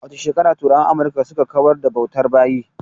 A wace shekara turawan Amurka suka kawar da bautar bayi?